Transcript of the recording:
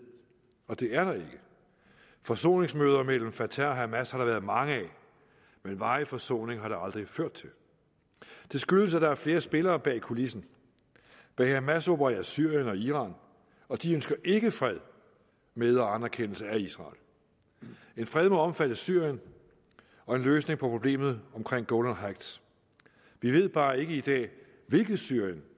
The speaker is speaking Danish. og det er der ikke forsoningsmøder mellem fatah og hamas har der været mange af men varig forsoning har det aldrig ført til det skyldes at der er flere spillere bag kulissen bag hamas opererer syrien og iran og de ønsker ikke fred med og anerkendelse af israel en fred må omfatte syrien og en løsning på problemet omkring golan heights vi ved bare ikke i dag hvilket syrien